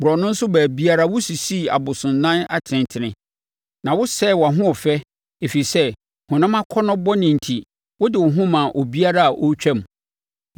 Borɔno so baabiara wosisii abosonnan atentene, na wosɛee wʼahoɔfɛ ɛfiri sɛ honam akɔnnɔ bɔne enti wode wo ho maa obiara a ɔretwam.